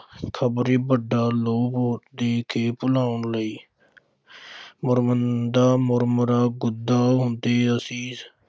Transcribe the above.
ਖ਼ਬਰੇ ਵੱਡਾ ਲੋਭ ਦੇ ਕੇ ਭੁਲਾਉਣ ਲਈ ਮੁਰਮੁੰਦਾ ਮੁਰਮੁਰਾ ਗੰਦਾ ਹੁੰਦੈ ਅਸੀਂ